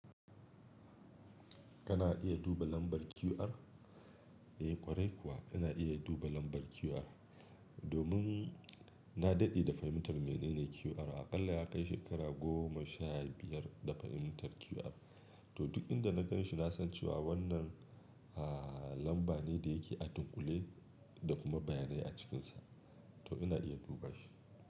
Kana iya duba lambar QR? Eh ƙwarai kuwa ina iya duba lambar QR. Domin na daɗe da fahimtar menene QR, aƙalla ya kai shekara goma sha biyar da fahimtar QR. To duk inda na gan shi na san cewa wannan, ah, lamba ne da yake a dunƙule da kuma bayanai a cikinsa. To ina iya duba shi.